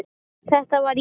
Þetta var ég.